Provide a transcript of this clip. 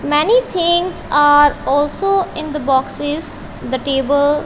many things are also in the boxes the table--